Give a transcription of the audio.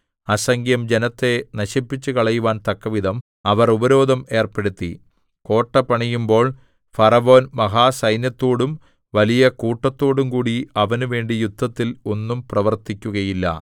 അസംഖ്യം ജനത്തെ നശിപ്പിച്ചുകളയുവാൻ തക്കവിധം അവർ ഉപരോധം ഏർപ്പെടുത്തി കോട്ട പണിയുമ്പോൾ ഫറവോൻ മഹാസൈന്യത്തോടും വലിയ കൂട്ടത്തോടും കൂടി അവനുവേണ്ടി യുദ്ധത്തിൽ ഒന്നും പ്രവർത്തിക്കുകയില്ല